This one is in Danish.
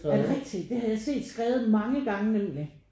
Er det rigtig? Det har jeg set skrevet mange gange nemlig